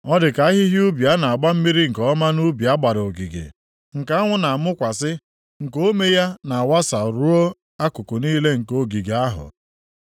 Ọ dị ka ahịhịa ubi a na-agba mmiri nke ọma nʼubi a gbara ogige, nke anwụ na-amụkwasị, nke ome ya na-awasa ruo akụkụ niile nke ogige ahụ.